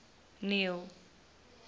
neil